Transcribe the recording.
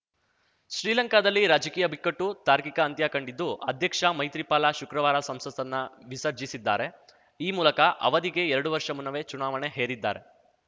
ಶ್ರೀಲಂಕಾದಲ್ಲಿ ರಾಜಕೀಯ ಬಿಕ್ಕಟ್ಟು ತಾರ್ಕಿಕ ಅಂತ್ಯಕಂಡಿದ್ದು ಅಧ್ಯಕ್ಷ ಮೈತ್ರಿಪಾಲ ಶುಕ್ರವಾರ ಸಂಸತ್ತನ್ನ ವಿಸರ್ಜಿಸಿದ್ದಾರೆ ಈ ಮೂಲಕ ಅವಧಿಗೆ ಎರಡು ವರ್ಷ ಮುನ್ನವೇ ಚುನಾವಣೆ ಹೇರಿದ್ದಾರೆ